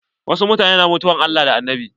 Wasu mutane na mutuwan Allah da Annabi.